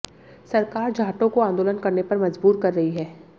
सरकार जाटों को आंदोलन करने पर मजबूर कर रही है